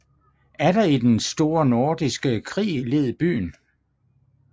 Atter i den Store Nordiske Krig led byen